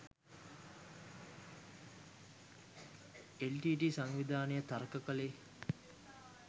LTTE. සංවිධානය තර්ක කළේ